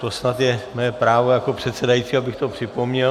To snad je mé právo jako předsedajícího, abych to připomněl.